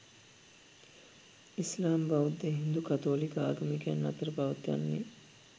ඉස්ලාම්, බෞද්ධ, හින්දු සහ කතෝලික ආගමිකයන් අතර පවත්නේ